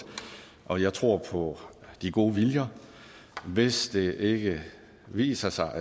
og jeg tror på de gode viljer hvis det viser sig